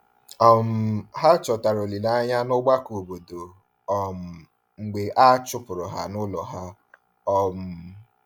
um Ha chọtara olileanya n’ọgbakọ obodo um mgbe a chụpụrụ ha n’ụlọ ha. um